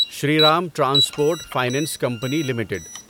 Shri Ram transport finance company limited